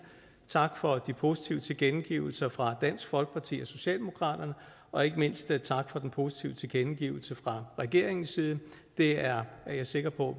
tak for de positive tilkendegivelser fra dansk folkeparti og socialdemokratiet og ikke mindst tak for den positive tilkendegivelse fra regeringens side det er jeg sikker på